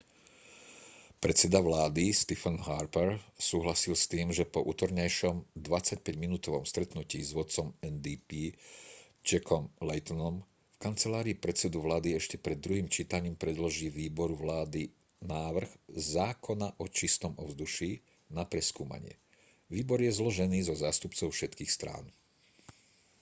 predseda vlády stephen harper súhlasil s tým že po utorňajšom 25-minútovom stretnutí s vodcom ndp jackom laytonom v kancelárii predsedu vlády ešte pred druhým čítaním predloží výboru vládny návrh zákona o čistom ovzduší na preskúmanie výbor je zložený zo zástupcov všetkých strán